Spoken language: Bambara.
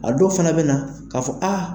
A dɔw fana bɛ na k'a fɔ aa